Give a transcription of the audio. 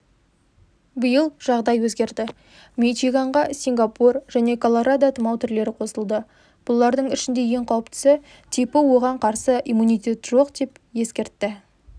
биыл жағдай өзгерді мичиганға сингапур және колорадо тұмау түрлері қосылды бұлардың ішінде ең қауіптісі типі оған қарсы иммунитет жоқ деп ескертті